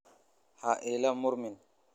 Ha ila murmin.